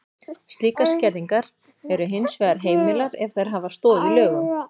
Slíkar skerðingar eru hins vegar heimilar ef þær hafa stoð í lögum.